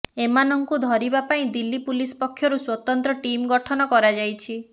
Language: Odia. ଏମାନଙ୍କୁ ଧରିବା ପାଇଁ ଦିଲ୍ଲୀ ପୁଲିସ୍ ପକ୍ଷରୁ ସ୍ୱତନ୍ତ୍ର ଟିମ୍ ଗଠନ କରାଯାଇଛି